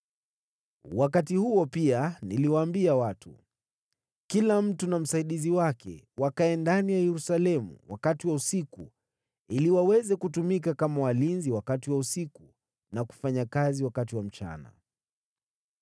Wakati huo pia niliwaambia watu, “Kila mtu na msaidizi wake wakae ndani ya Yerusalemu wakati wa usiku, ili waweze kutumika kama walinzi wakati wa usiku, na kufanya kazi wakati wa mchana.”